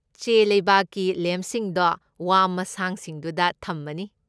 ꯆꯦꯂꯩꯕꯥꯛꯀꯤ ꯂꯦꯝꯞꯁꯤꯡꯗꯣ ꯋꯥ ꯃꯁꯥꯡꯁꯤꯡꯗꯨꯗ ꯊꯝꯃꯅꯤ꯫